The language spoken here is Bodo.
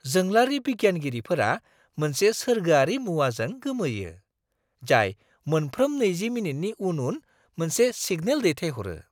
जोंलारि बिगियानगिरिफोरा मोनसे सोरगोआरि मुवाजों गोमोयो, जाय मोनफ्रोम 20 मिनिटनि उन-उन मोनसे सिगनेल दैथायहरो!